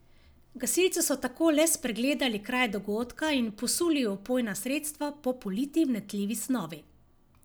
Gasilci so tako le pregledali kraj dogodka in posuli vpojna sredstva po politi vnetljivi snovi.